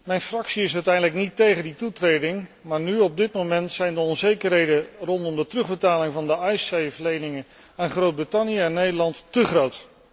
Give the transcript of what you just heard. Mijn fractie is uiteindelijk niet tegen die toetreding, maar op dit moment zijn de onzekerheden rondom de terugbetaling van de Icesave leningen aan Groot Brittannië en Nederland te groot.